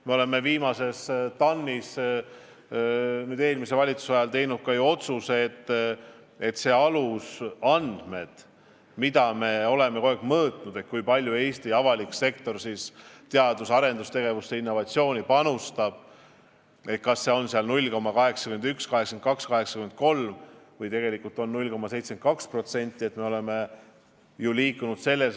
Me tegime eelmise valitsuse ajal viimases TAN-is ju ka otsuse, et mis puudutab alusandmeid, mida me oleme kogu aeg mõõtnud – kui palju Eesti avalik sektor teadus-arendustegevusse, innovatsiooni panustab, kas see on 0,81, 0,82 või 0,83% –, siis me toetume Statistikaameti andmetele.